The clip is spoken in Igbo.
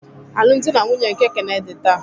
Alụmdi na nwunye nke Kene dị taa